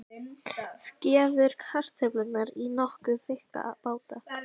Skerðu kartöflurnar í nokkuð þykka báta.